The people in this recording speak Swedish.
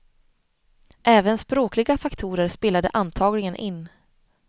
Även språkliga faktorer spelade antagligen in.